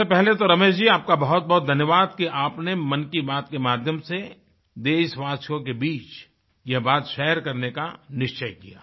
सबसे पहले तो रमेश जी आपका बहुत बहुत धन्यवाद कि आपने मन की बात के माध्यम से देशवासियों के बीच ये बात शेयर करने का निश्चय किया